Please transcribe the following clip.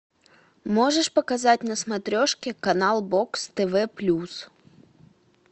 можешь показать на смотрешке канал бокс тв плюс